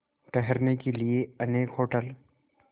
ठहरने के लिए अनेक होटल